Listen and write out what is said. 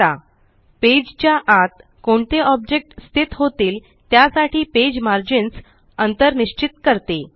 000046 000042 page च्या आत कोणते ऑब्जेक्ट स्थित होतील त्यासाठी पेज मार्जिन्स अंतर निश्चित करते